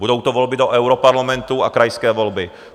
Budou to volby do europarlamentu a krajské volby.